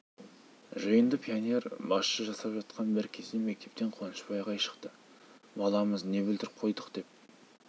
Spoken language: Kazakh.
жиынды пионер басшы жасап жатқан бір кезде мектептен қуанышбай ағай шықты баламыз не бүлдіріп қойдық деп